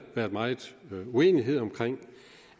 været meget uenighed om